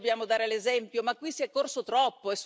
Noi dobbiamo dare l'esempio ma qui si è corso troppo!